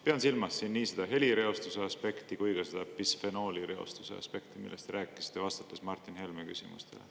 Pean silmas siin nii seda helireostuse aspekti kui ka bisfenoolireostuse aspekti, millest te rääkisite, vastates Martin Helme küsimustele.